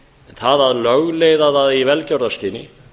það að lögleiða það í velgjörðarskyni